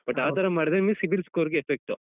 But ಆತರ ಮಾಡಿದ್ರೆ ನಿಮ್ಗೆ cibil score ಗೆ effect ಉ.